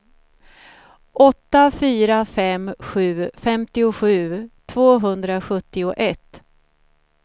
åtta fyra fem sju femtiosju tvåhundrasjuttioett